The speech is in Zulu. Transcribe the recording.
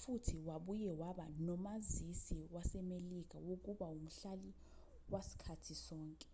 futhi wabuye waba nomazisi wasemelika wokuba umhlali wasikhathi sonke